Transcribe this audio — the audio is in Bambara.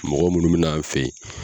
Mɔgɔ minnu bɛ n'an fɛ yen.